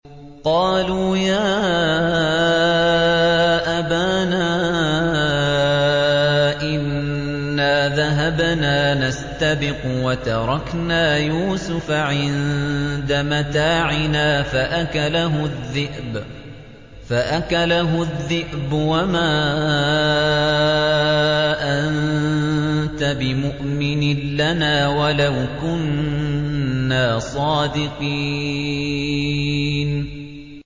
قَالُوا يَا أَبَانَا إِنَّا ذَهَبْنَا نَسْتَبِقُ وَتَرَكْنَا يُوسُفَ عِندَ مَتَاعِنَا فَأَكَلَهُ الذِّئْبُ ۖ وَمَا أَنتَ بِمُؤْمِنٍ لَّنَا وَلَوْ كُنَّا صَادِقِينَ